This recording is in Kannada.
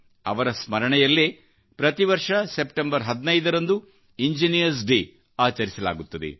ಅವರ ಸ್ಮರಣೆಯಲ್ಲೇ ಪ್ರತಿವರ್ಷ ಸೆಪ್ಟೆಂಬರ್ 15ರಂದು ಇಂಜಿನಿಯರ್ಸ್ ಡೇಆಚರಿಸಲಾಗುತ್ತದೆ